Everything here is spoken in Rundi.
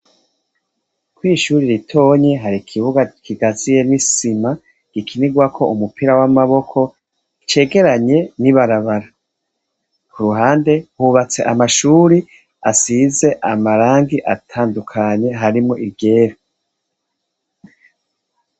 Ko ishuri ritonye hari ikibuga kigaziye n'isima gikinirwako umupira w'amaboko cegeranye ni barabara ku ruhande hubatse amashuri asize amarangi atandukanye harimo iryera.